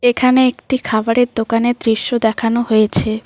এখানে একটি খাবারের দোকানের দৃশ্য দেখানো হয়েছে।